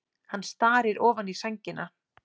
Hann starir ofan í sængina.